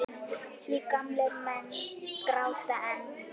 Því gamlir menn gráta enn.